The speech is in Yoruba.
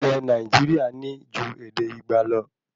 Ilé Nàìjíríà ní ju ède igba lọ